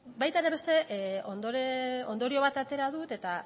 baita ere beste ondorio bat atera dut eta